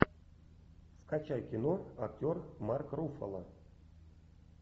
скачай кино актер марк руффало